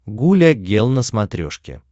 гуля гел на смотрешке